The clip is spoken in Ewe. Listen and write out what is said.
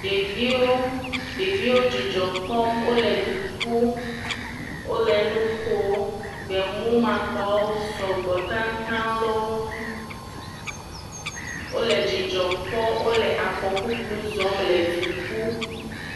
ɖeviwo ɖeviwo wóle dzidzɔkpɔm wóle du ƒum wóle nukom gbemu makpawo sɔgbɔ taŋtaŋ lé wó ŋu wóle dzidzɔ kpɔ wóle afɔ ƒuƒlu zɔm le duƒum